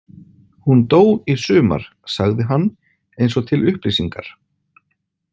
Hún dó í sumar, sagði hann eins og til upplýsingar.